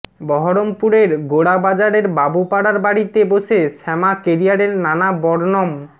বহরমপুরের গোরাবাজারের বাবুপাড়ার বাড়িতে বসে শ্যামা কেরিয়ারের নানা বর্ণম